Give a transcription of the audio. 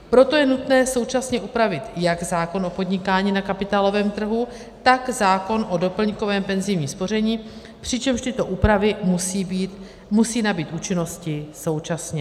Proto je nutné současně upravit jak zákon o podnikání na kapitálovém trhu, tak zákon o doplňkovém penzijním spoření, přičemž tyto úpravy musí nabýt účinnosti současně.